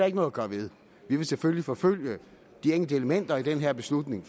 ikke noget at gøre ved vi vil selvfølgelig fortsat forfølge de enkelte elementer i den her beslutning